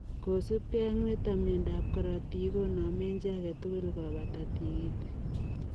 Kosuup gei ak nitok ,miondoop korotik koname chi age tugul kopataa tigitik.